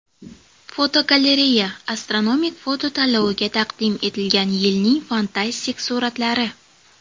Fotogalereya: Astronomik foto tanloviga taqdim etilgan yilning fantastik suratlari.